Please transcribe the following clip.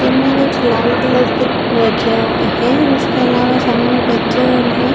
इनमे कुछ लाल कलर के रखे हुए है उसके अलावा सामने बच्चे मन हैं।